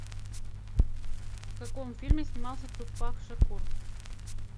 в каком фильме снимался тупак шакур